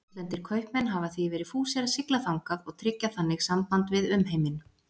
Útlendir kaupmenn hafa því verið fúsir að sigla þangað og tryggja þannig samband við umheiminn.